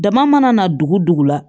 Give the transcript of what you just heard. Dama mana na dugu dugu la